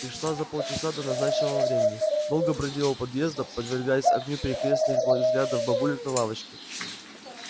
пришла за полчаса до назначенного времени долго бродила у подъезда подвергаясь огню перекрёстных взглядов бабулек на лавочке